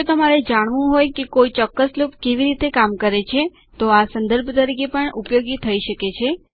જો તમારે જાણવું હોય કે કોઈ ચોક્કસ લૂપ કેવી રીતે કામ કરે છે તો આ સંદર્ભ તરીકે પણ ઉપયોગી થઇ શકે છે